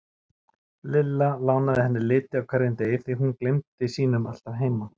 Lilla lánaði henni liti á hverjum degi því hún gleymdi sínum alltaf heima.